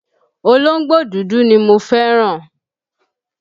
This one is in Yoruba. Olóńgbò dúdú ni mo fẹ́ràn.